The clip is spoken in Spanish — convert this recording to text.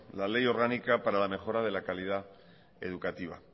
la ley orgánica para la mejora de la calidad educativa